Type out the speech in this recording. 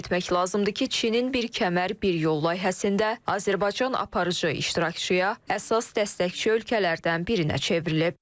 Qeyd etmək lazımdır ki, Çinin bir kəmər, bir yol layihəsində Azərbaycan aparıcı iştirakçıya, əsas dəstəkçi ölkələrdən birinə çevrilib.